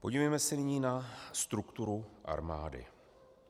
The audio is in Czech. Podívejme se nyní na strukturu armády.